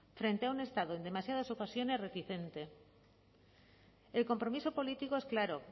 frente a un estado en demasiadas ocasiones reticente el compromiso político es claro